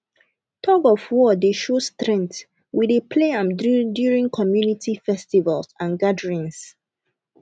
tugofwar dey show strength we dey play am during community festivals and gatherings